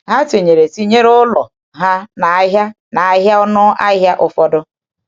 Ha tinyere tinyere ụlọ ha n’ahịa n’ahịa ọnụ ahịa ụfọdụ.